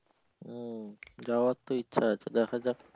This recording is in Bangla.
হম যাওয়ার তো ইচ্ছে আছে দেখা যাক ।